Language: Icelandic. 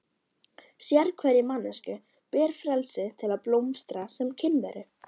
Sérhverri manneskju ber frelsi til að blómstra sem kynveru.